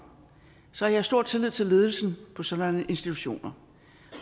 så har jeg stor tillid til ledelsen på sådanne institutioner